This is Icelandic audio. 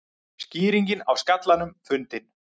Skýringin á skallanum fundin